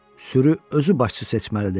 Sürü özü başçı seçməlidir.